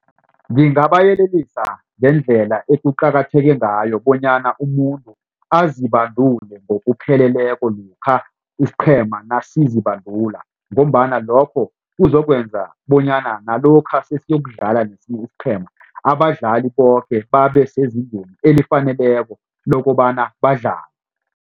Ngingabayelelisa ngendlela ekuqakatheke ngayo bonyana umuntu azibandule ngokupheleleko lokha isiqhema nasizibandula ngombana lokho kuzokwenza bonyana nalokha sesiyokudlala nesinye isiqhema abadlali boke babe sezingeni elifaneleko lokobana badlale.